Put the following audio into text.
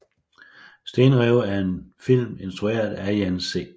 Stenrev er en film instrueret af Jan C